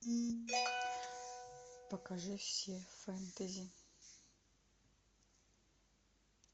покажи все фэнтези